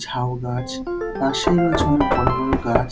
ঝাউ গাছ পাশেই রয়েছে অনেক বড় বড় গাছ।